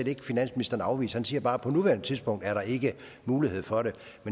ikke finansministeren afvise han siger bare at på nuværende tidspunkt er der ikke mulighed for det